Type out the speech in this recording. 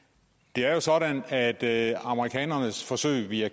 det er jo sådan at at amerikanernes forsøg via